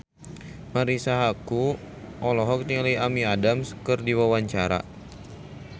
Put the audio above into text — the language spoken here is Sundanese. Marisa Haque olohok ningali Amy Adams keur diwawancara